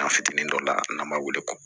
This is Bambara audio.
An fitinin dɔ la n'an b'a wele ko